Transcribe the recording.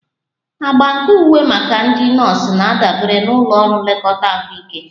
Agba nke uwe maka ndị nọọsụ na-adabere na ụlọ ọrụ nlekọta ahụike